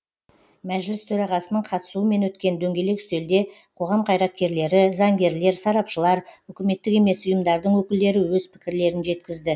мәжіліс төрағасының қатысуымен өткен дөңгелек үстелде қоғам қайраткерлері заңгерлер сарапшылар үкіметтік емес ұйымдардың өкілдері өз пікірлерін жеткізді